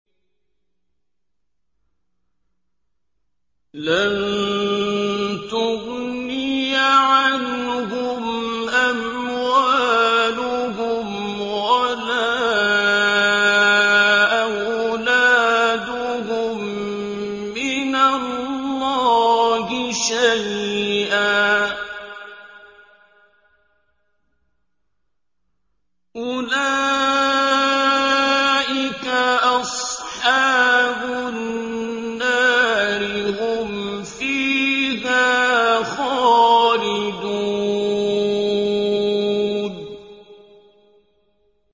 لَّن تُغْنِيَ عَنْهُمْ أَمْوَالُهُمْ وَلَا أَوْلَادُهُم مِّنَ اللَّهِ شَيْئًا ۚ أُولَٰئِكَ أَصْحَابُ النَّارِ ۖ هُمْ فِيهَا خَالِدُونَ